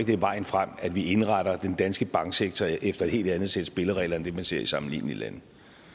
det er vejen frem at vi indretter den danske banksektor efter et helt andet sæt spilleregler end det man ser i sammenlignelige lande